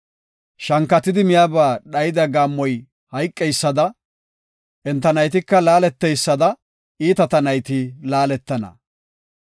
Shankatidi miyaba dhayida gaammoy hayqeysada, enta naytika laaleteysada iitata nayti laaletana.